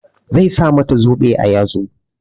Zai sa mata zobe a yatsa.